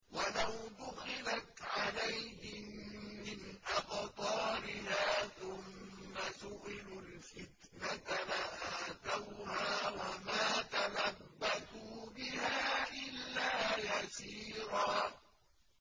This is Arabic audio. وَلَوْ دُخِلَتْ عَلَيْهِم مِّنْ أَقْطَارِهَا ثُمَّ سُئِلُوا الْفِتْنَةَ لَآتَوْهَا وَمَا تَلَبَّثُوا بِهَا إِلَّا يَسِيرًا